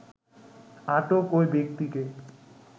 আটক ওই ব্যক্তিকে